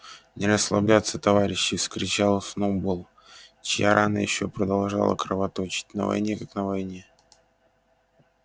не расслабляться товарищи вскричал сноуболл чья рана ещё продолжала кровоточить на войне как на войне